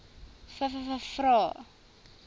vvvvrae